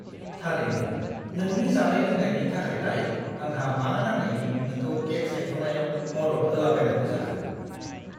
थारैनो! नोंनि जानाय-लोंनायनि थाखायलाय आंहा मा नांनायनि नोंखौ केक सायख'नायाव मदद होलाबायनांगौ जाखो!